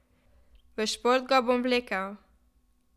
V šport ga bom vlekel.